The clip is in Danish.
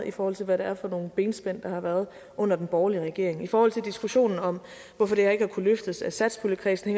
i forhold til hvad det er for nogle benspænd der har været under den borgerlige regering i forhold til diskussionen om hvorfor det her ikke har kunnet løftes af satspuljekredsen